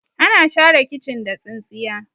ana share kicin da tsintsiya